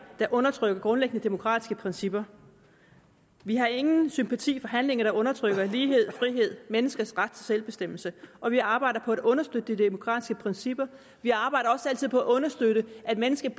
der undertrykker grundlæggende demokratiske principper vi har ingen sympati for handlinger der undertrykker lighed frihed menneskers ret til selvbestemmelse og vi arbejder på at understøtte de demokratiske principper vi arbejder også altid på at understøtte at mennesket